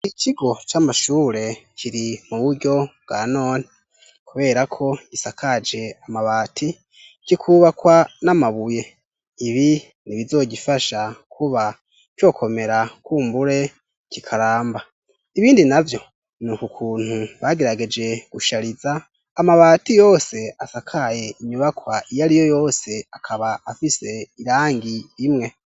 Ikigo camashure kiri muburyo bwanone, kuberako gisakaje amabati kikubakwa n'amabuye, ibi nibizogifasha kuba cokomera kumbure kikaramba, ibindi navyo nukukuntu bagerageje gushariza amabati yose asakaye inyubakwa iyariyo yose akaba afise irangi imwe.